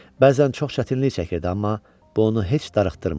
Bəzən çox çətinlik çəkirdi, amma bu onu heç darıxdırmırdı.